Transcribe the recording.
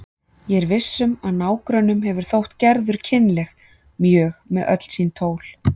Ég er viss um að nágrönnunum hefur þótt Gerður kynleg mjög með öll sín tól.